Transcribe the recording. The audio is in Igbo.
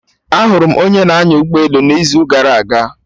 Ahụrụ m onye na-anya ụgbọ elu n'izu gara aga